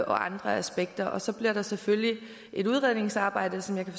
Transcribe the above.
andre aspekter så bliver der selvfølgelig et udredningsarbejde som jeg kan